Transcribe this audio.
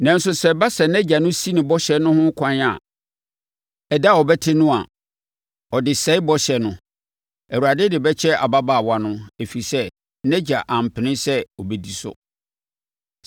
Nanso sɛ ɛba sɛ nʼagya no si no bɔhyɛ no ho ɛkwan ɛda a ɔbɛte no a, ɔde sɛe bɔhyɛ no. Awurade de bɛkyɛ ababaawa no, ɛfiri sɛ, nʼagya ampene sɛ ɔbɛdi so.